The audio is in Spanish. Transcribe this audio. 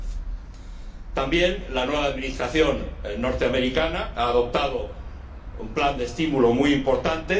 2010. También la nueva administración norteamericana ha adoptado un plan de estímulo muy importante.